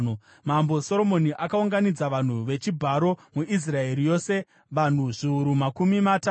Mambo Soromoni akaunganidza vanhu vechibharo muIsraeri yose, vanhu zviuru makumi matatu.